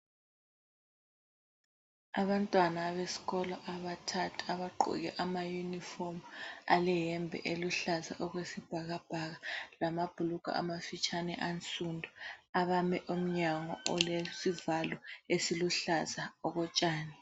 Abantwana abesikolo abathathu abagqoke ama yunifomu, aleyembe eluhlaza okwesibhakabhaka lamabhulungwe amafitshane ansundu abame emnyango olesivalo esiluhlaza okotshani.